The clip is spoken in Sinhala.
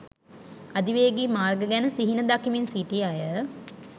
අධිවේගී මාර්ග ගැන සිහින දකිමින් සිටි අය